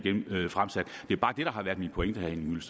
fremsat det er bare det der har været min pointe